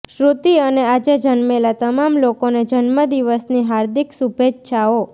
શ્રૃતિ અને આજે જન્મેલા તમામ લોકોને જન્મદિવસની હાર્દિક શુભેચ્છાઓ